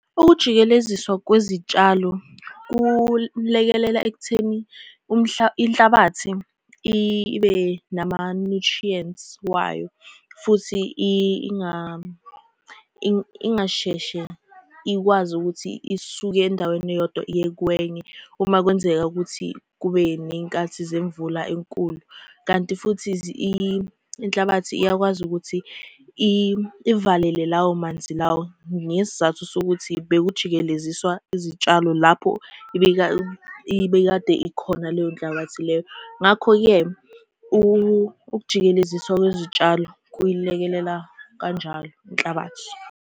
Ukujikeleziswa kwezitshalo kulekelela ekutheni inhlabathi ibe nama-nutrients wayo, futhi ingasheshe ikwazi ukuthi isuke endaweni eyodwa iye kwenye uma kwenzeka ukuthi kube ney'nkathi zemvula enkulu, kanti futhi inhlabathi iyakwazi ukuthi ivalele lawo manzi lawo. Ngesizathu sokuthi bekujikeleziswa izitshalo lapho ibekade ikhona leyo nhlabathi leyo, ngakho-ke ukujikeleziswa kwezitshalo kuyilekelela kanjalo inhlabathi.